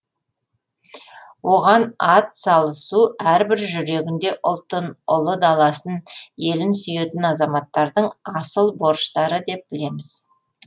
оған ат салысу әрбір жүрегінде ұлтын ұлы даласын елін сүйетін азаматтардың асыл борыштары деп білеміз